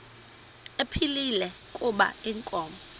ephilile kuba inkomo